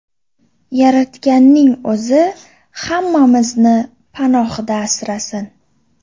Yaratganning o‘zi hammamizni panohida asrasin!